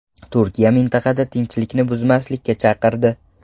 Turkiya mintaqada tinchlikni buzmaslikka chaqirdi .